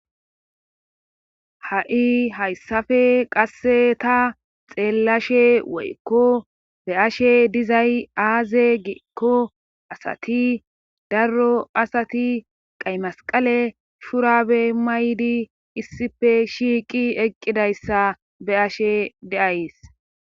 ha7i hayssafe qasse ta xeellashe woykko be ashe dizay aaze geekko asati darro asati qay masqale shurabe maydi issife shiiqi eqqidayssa be ashe deays